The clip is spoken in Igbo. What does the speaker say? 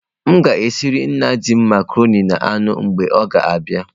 M ga-esiere nna di m macarọnị na anụ mgbe ọ ga abia.